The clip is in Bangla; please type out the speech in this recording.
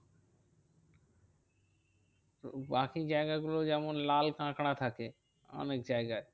তো বাকি জায়গাগুলো যেমন লাল কাঁকড়া থাকে। অনেকজায়গায়